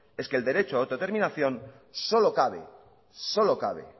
es que el derecho de autodeterminación solo cabe